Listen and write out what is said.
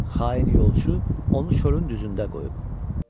Xain yolçu onu çölün düzündə qoyub.